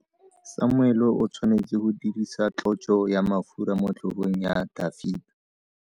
Samuele o tshwanetse go dirisa tlotso ya mafura motlhogong ya Dafita.